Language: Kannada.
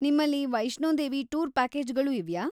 ನಿಮ್ಮಲ್ಲಿ ವೈಷ್ಣೋದೇವಿ ಟೂರ್‌ ಪ್ಯಾಕೇಜ್ಗಳೂ ಇವ್ಯಾ?